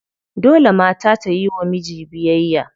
Dole mata ta yiwa miji biyayya.